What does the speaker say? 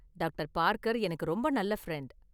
Doctor Parker எனக்கு ரொம்ப நல்ல ஃப்ரெண்டு.